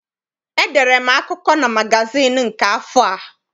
Edere m akụkọ na magazịịnụ nke afọ a.